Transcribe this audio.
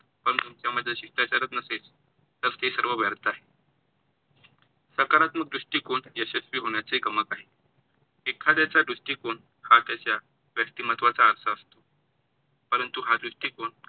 पण तुमच्यामध्ये शिष्टाचारच नसेल तर ते सर्व व्यर्थ आहे. सकारात्मक दृष्टीकोण यशस्वी होण्याचे गमक आहे. एखाद्याचा दृष्टीकोण हा त्याचा व्यक्तिमत्वाचा आरसा असतो, परंतु हा दृष्टीकोण